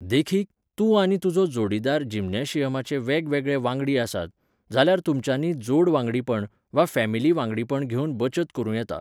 देखीक, तूं आनी तुजो जोडीदार जिम्नॅशियमाचे वेगवेगळे वांगडी आसात, जाल्यार तुमच्यांनी जोडवांगडीपण वा फॅमिली वागडीपण घेवन बचत करूं येता.